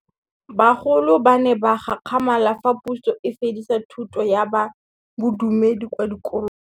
Bagolo ba ne ba gakgamala fa Pusô e fedisa thutô ya Bodumedi kwa dikolong.